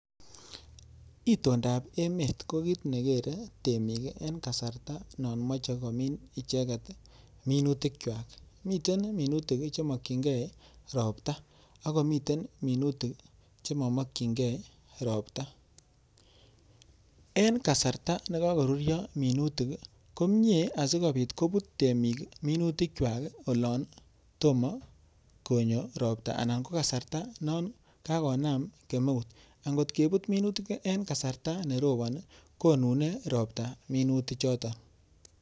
itondap emet kokiii nekikere eng yanegit koropon amun mitei minutik chemanamege ak ropta amun akoi konunyaa minuti chotok